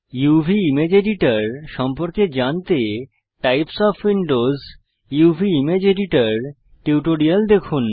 UV image editor সম্পর্কে জানতে types of Windows uvইমেজ এডিটর টিউটোরিয়াল দেখুন